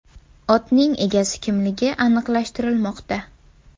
Otning egasi kimligi aniqlashtirilmoqda.